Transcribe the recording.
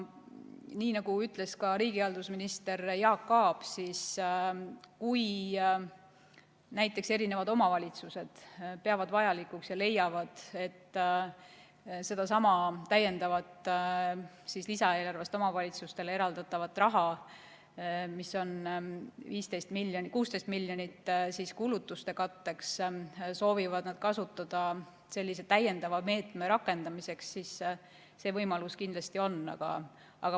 Nii nagu ütles riigihalduse minister Jaak Aab, et kui näiteks omavalitsused peavad vajalikuks, et sedasama täiendavat lisaeelarvest omavalitsustele eraldatavat raha, mis on 16 miljonit eurot, soovivad nad kasutada sellise täiendava meetme rakendamiseks, siis see võimalus kindlasti on.